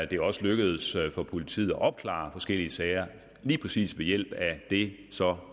det er også lykkedes for politiet at opklare forskellige sager lige præcis ved hjælp af det så